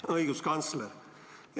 Hea õiguskantsler!